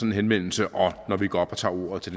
en henvendelse og når vi går op og tager ordet til